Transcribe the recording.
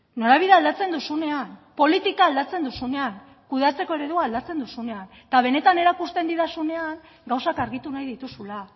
norabidea aldatzen duzunean politika aldatzen duzunean kudeatzeko eredua aldatzen duzunean eta benetan erakusten didazunean gauzak argitu nahi dituzula